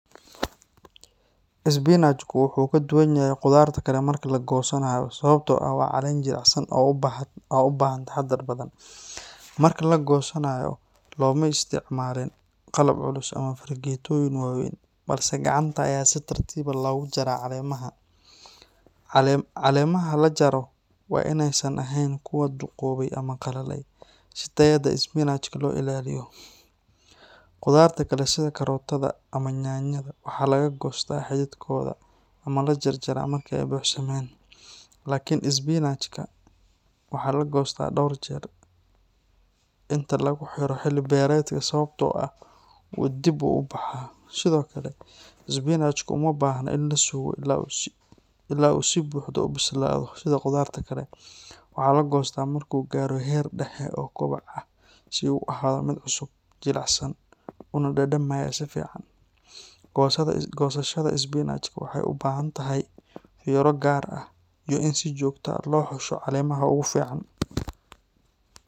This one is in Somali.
Isbinajku wuxuu ka duwan yahay khudaarta kale marka la goosanayo sababtoo ah waa caleen jilicsan oo u baahan taxaddar badan. Marka la goosanayo, looma isticmaalin qalab culus ama fargeetooyin waaweyn, balse gacanta ayaa si tartiib ah loogu jaraa caleemaha. Caleemaha la jaro waa inaysan ahayn kuwo duqoobay ama qalalay, si tayada isbinajka loo ilaaliyo. Khudaarta kale sida karootada ama yaanyada waxaa laga goostaa xididkooda ama la jarjarayaa marka ay buuxsamaan, laakiin isbinajka waxaa la goostaa dhowr jeer inta lagu jiro xilli beereedka sababtoo ah wuu dib u baxaa. Sidoo kale, isbinajku uma baahna in la sugo ilaa uu si buuxda u bislaado sida khudaarta kale. Waxaa la goostaa markuu gaaro heer dhexe oo koboc ah si uu u ahaado mid cusub, jilicsan, una dhadhamiya si fiican. Goosashada isbinajka waxay u baahan tahay fiiro gaar ah iyo in si joogto ah loo xusho caleemaha ugu fiican.